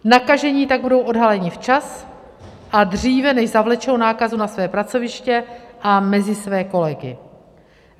Nakažení tak budou odhaleni včas a dříve, než zavlečou nákazu na své pracoviště a mezi své kolegy.